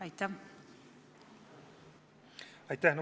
Aitäh!